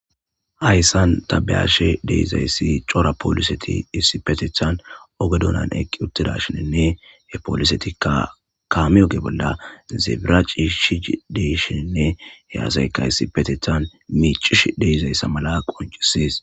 Hayssan ta beyashe dizayssi cora polisetti issi bolla cora polisetti issipetethan ooge duunnan eqii uttidashinkka he polisettika kaame ooge bolla ciishshi dishinne he asaykka issippe miccishe de'izaysa qonccises